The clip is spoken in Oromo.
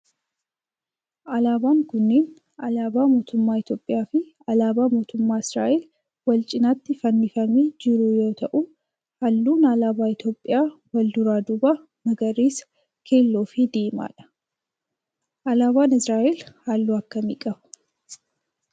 Alaabaan kunneen alaabaa mootummaa Itiyoophiyaa fi alaabaa mootummaa Israa'el wal cinatti fannifamee jiru yoo ta'u halluun alaabaa Itiyoophiyaa wal duraa duuban magariisa, keelloo fi diimaa dha. alaabaan Israa'el halluu akkamii qaba?